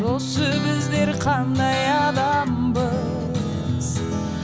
осы біздер қандай адамбыз